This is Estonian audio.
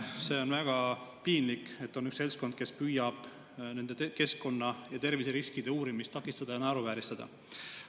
See on väga piinlik, et on üks seltskond, kes püüab nende keskkonna- ja terviseriskide uurimist takistada ja naeruvääristada.